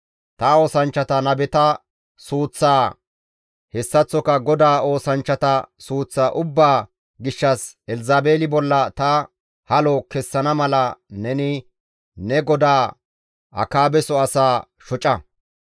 Ta oosanchchata nabeta suuththaa hessaththoka GODAA oosanchchata suuththa ubbaa gishshas Elzabeeli bolla ta halo kessana mala neni ne godaa Akaabeso asaa shoca.